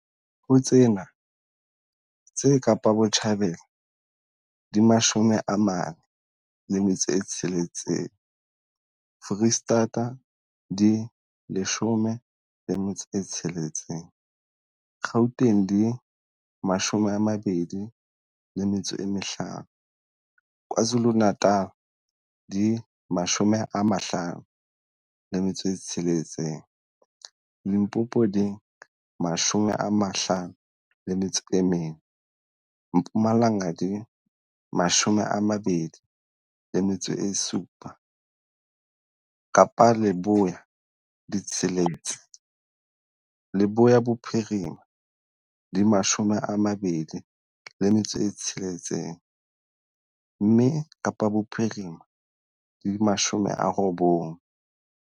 Ho tsena, tse Kapa Botjhabela di 46, Freistata di 16, Gauteng di 25, KwaZulu-Natal di 56, Limpopo di 54, Mpumalanga di 27, Kapa Leboya di tsheletse, Leboya Bophirima di 26, mme Kapa Bophirima di 90.